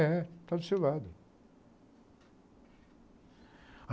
É, está do seu lado.